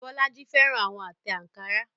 Bolaji fẹ́ràn àwọn àtẹ̀ ankara.